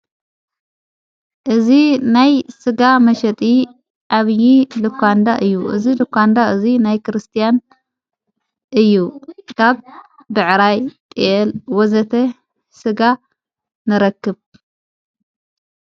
እዚ ናይ ሥጋ መሸጢ ኣብዪ ልኳንዳ እዩ እዝ ልኳንዳ እዙይ ናይ ክርስቲያን እዩ ካብ ብዕራይ ፣ ጥየል ወዘተ ሥጋ ነረክብ።